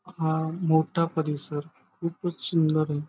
हा मोठा परिसर खूपच सुंदर ये.